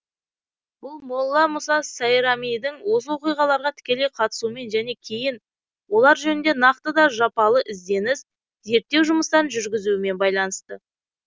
бұл молла мұса сайрамидің осы оқиғаларға тікелей қатысуымен және кейін олар жөнінде нақты да жапалы ізденіс зерттеу жұмыстарын жүргізуімен байланысты